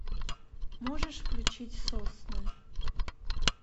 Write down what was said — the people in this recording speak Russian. можешь включить сосны